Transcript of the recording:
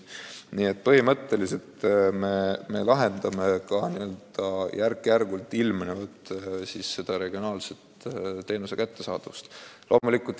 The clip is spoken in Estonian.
Nii et põhimõtteliselt me parandame järk-järgult ka regionaalset teenuse kättesaadavust.